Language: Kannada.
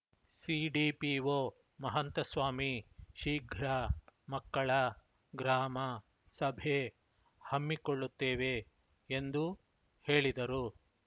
ಸಿಡಿಪಿಓ ಮಹಂತಸ್ವಾಮಿ ಶೀಘ್ರ ಮಕ್ಕಳ ಗ್ರಾಮ ಸಭೆ ಹಮ್ಮಿಕೊಳ್ಳುತ್ತೇವೆ ಎಂದು ಹೇಳಿದರು